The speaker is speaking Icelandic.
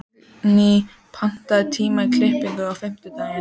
Signý, pantaðu tíma í klippingu á fimmtudaginn.